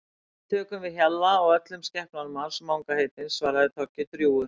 Við tökum við Hjalla og öllum skepnunum hans Manga heitins svaraði Toggi drjúgur.